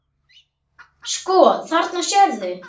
Sko, þarna sérðu.